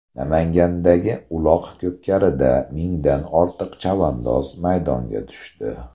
Namangandagi uloq-ko‘pkarida mingdan ortiq chavandoz maydonga tushdi .